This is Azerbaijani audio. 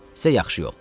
Sizə yaxşı yol."